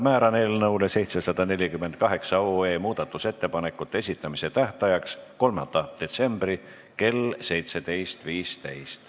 Määran eelnõu 748 muudatusettepanekute esitamise tähtajaks 3. detsembri kell 17.15.